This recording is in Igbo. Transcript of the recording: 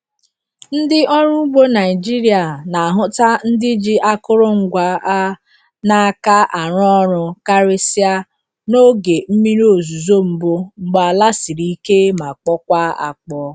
Ndị ọrụ ugbo Naịjiria na-ahụta ndị ji akụrụngwa a n’aka arụ ọrụ karịsịa n'oge mmiri ozuzo mbụ mgbe ala siri ike ma kpọkwaa akpọọ.